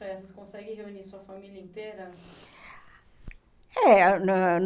festas, consegue reunir sua família inteira? É, na